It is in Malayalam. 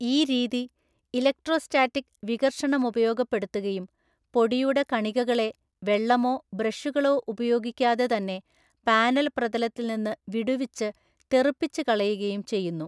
ഈ രീതി ഇലക്ട്രോസ്റ്റാറ്റിക് വികർഷണമുപയോഗപ്പെടുത്തുകയും, പൊടിയുടെ കണികകളെ വെള്ളമോ ബ്രഷുകളോ ഉപയോഗിക്കാതെതന്നെ പാനൽപ്രതലത്തിൽനിന്ന് വിടുവിച്ച് തെറിപ്പിച്ചുകളയുകയും ചെയ്യുന്നു.